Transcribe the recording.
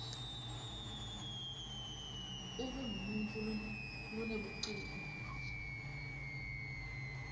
ube ngumuntfu lonebuciko